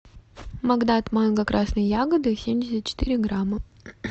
магнат манго красные ягоды семьдесят четыре грамма